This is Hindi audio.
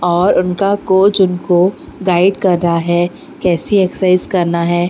और उनका कोच उनको गाइड कर रहा है कैसे एक्सरसाइज करना है।